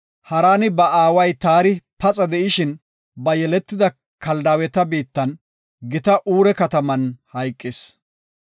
Haraani ba aaway Taari paxa de7ishin, ba yeletida Kaldaaweta biittan, gita Uure kataman hayqis.